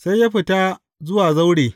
Sai ya fita zuwa zaure.